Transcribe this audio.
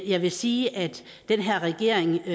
jeg vil sige at den her regering